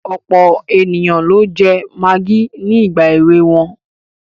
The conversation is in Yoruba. Ọ̀pọ̀ ènìyàn ló jẹ magí ní ìgbà èwe wọn.